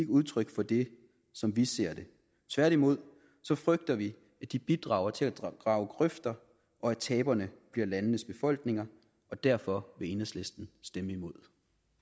udtryk for det som vi ser det tværtimod frygter vi at de bidrager til at grave grøfter og at taberne bliver landenes befolkninger derfor vil enhedslisten stemme imod